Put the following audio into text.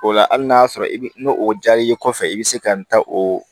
O la hali n'a sɔrɔ i bi n'o o jari kɔfɛ i bi se ka n ta o